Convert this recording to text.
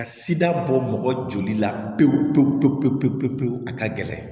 Ka sida bɔ mɔgɔ joli la pewu pewu pewu pewu a ka gɛlɛn